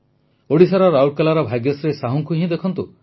ଓଡ଼ିଶାର ରାଉରକେଲାର ଭାଗ୍ୟଶ୍ରୀ ସାହୁଙ୍କୁ ଦେଖନ୍ତୁ